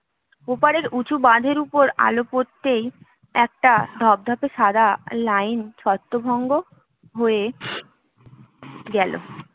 ওপারের উঁচু বাঁধের ওপর আলো পড়তেই একটা ধবধবে সাদা লাইন ছত্রভঙ্গ হয়ে গেল